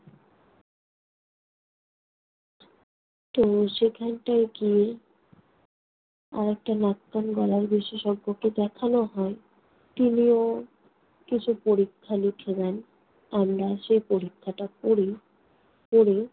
তো সেখানটায় গিয়ে আরেকটা নাক-কান-গলার বিশেষজ্ঞকে দেখানো হয়। তিনিও কিছু পরীক্ষা লিখে দেন। আমরা সে পরীক্ষাটা করি। করে